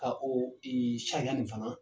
Ka o i sariya in fana